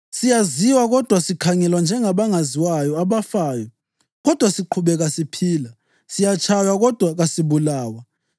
siyaziwa kodwa sikhangelwa njengabangaziwayo, abafayo, kodwa siqhubeka siphila; siyatshaywa kodwa kasibulawa,